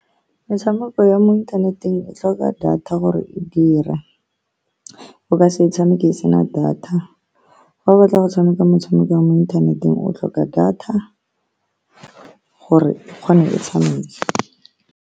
Metshameko ya mo inthaneteng e tlhoka data gore e dira. O ka se e tshameke e sena data. Fa o batla go tshameka motshameko wa mo inthaneteng, o tlhoka data gore e kgone go tshameka.